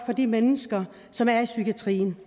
for de mennesker som er i psykiatrien